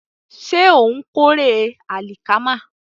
Ṣé ó ń kórè àlìkámà?